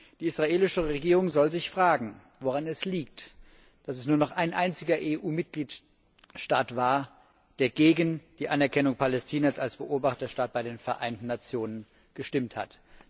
Die israelische Regierung soll sich fragen, woran es liegt, dass es nur noch ein einziger EU Mitgliedstaat war, der gegen die Anerkennung Palästinas als Beobachterstaat bei den Vereinten Nationen gestimmt hat.